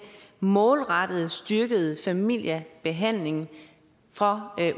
målrettet styrkede familiebehandlingen for